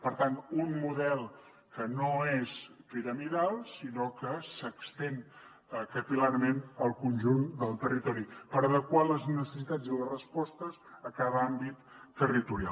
per tant un model que no és piramidal sinó que s’estén capil·larment al conjunt del territori per adequar les necessitats i les respostes a cada àmbit territorial